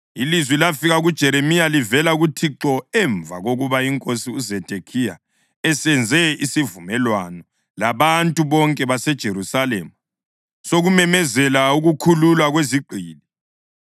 Ilizwi lafika kuJeremiya livela kuThixo emva kokuba inkosi uZedekhiya esenze isivumelwano labantu bonke baseJerusalema sokumemezela ukukhululwa kwezigqili.